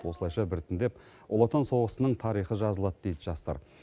осылайша біртіндеп ұлы отан соғысының тарихы жазылады дейді жастар